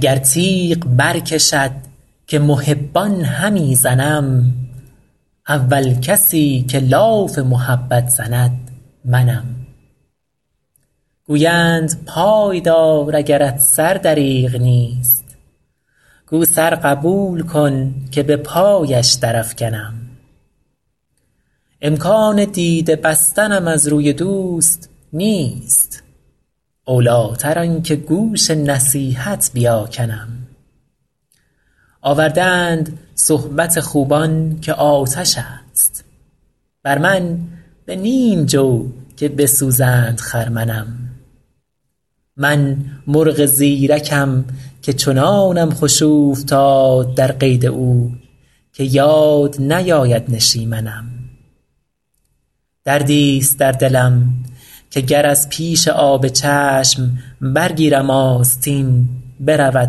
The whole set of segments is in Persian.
گر تیغ برکشد که محبان همی زنم اول کسی که لاف محبت زند منم گویند پای دار اگرت سر دریغ نیست گو سر قبول کن که به پایش درافکنم امکان دیده بستنم از روی دوست نیست اولیتر آن که گوش نصیحت بیاکنم آورده اند صحبت خوبان که آتش است بر من به نیم جو که بسوزند خرمنم من مرغ زیرکم که چنانم خوش اوفتاد در قید او که یاد نیاید نشیمنم دردیست در دلم که گر از پیش آب چشم برگیرم آستین برود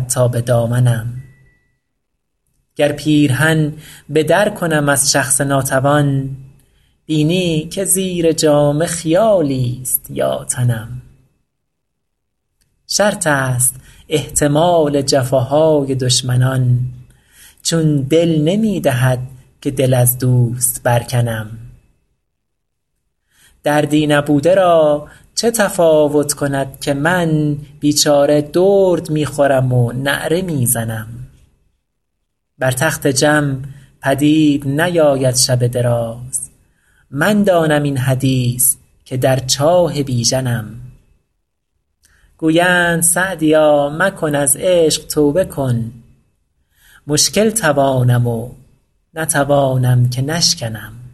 تا به دامنم گر پیرهن به در کنم از شخص ناتوان بینی که زیر جامه خیالیست یا تنم شرط است احتمال جفاهای دشمنان چون دل نمی دهد که دل از دوست برکنم دردی نبوده را چه تفاوت کند که من بیچاره درد می خورم و نعره می زنم بر تخت جم پدید نیاید شب دراز من دانم این حدیث که در چاه بیژنم گویند سعدیا مکن از عشق توبه کن مشکل توانم و نتوانم که نشکنم